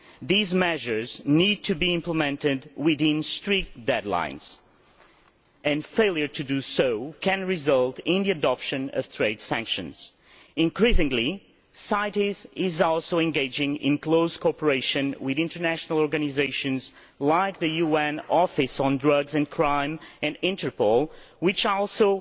These measures need to be implemented within strict deadlines, and failure to do so could result in the adoption of trade sanctions. Increasingly, CITES is also engaging in close cooperation with international organisations like the UN Office on Drugs and Crime, and Interpol, which also